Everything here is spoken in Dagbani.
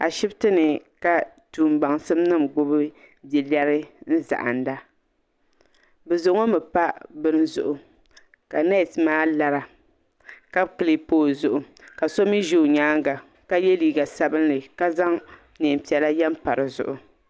Ashibiti ni ka tuma baŋsim nima gbubi bia lɛrin zahinda bi za ŋɔ mi bini zuɣu ka nɛsi maa lara ka clipi o zuɣu ka so mi zi o yɛanga ka ye liiga sabinli ka zaŋ nɛɛn piɛlla ye mpa di zuɣu.